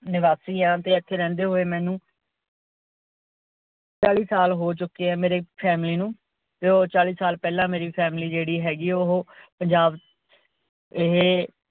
ਨਿਵਾਸੀ ਆਂ ਤੇ ਇੱਥੇ ਰਿਹੰਦੇ ਹੋਏ ਮੈਂਨੂੰ ਚਾਲੀ ਸਾਲ ਹੋ ਚੁੱਕੇ ਏ ਮੇਰੇ family ਨੂੰ ਤੇ ਓ ਚਾਲੀ ਪਿਹਲਾਂ ਮੇਰੀ family ਜੇਹੜੀ ਹੈਗੀ ਓਹੋ ਪੰਜਾਬ ਇਹੇ